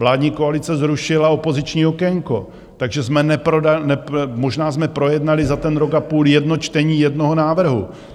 Vládní koalice zrušila opoziční okénko, takže jsme možná projednali za ten rok a půl jedno čtení jednoho návrhu.